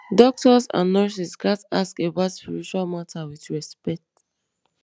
doctors and nurses gats ask about spiritual matter with respect